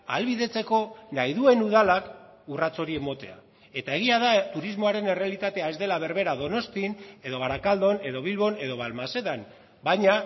ahalbidetzeko nahi duen udalak urrats hori ematea eta egia da turismoaren errealitatea ez dela berbera donostian edo barakaldon edo bilbon edo balmasedan baina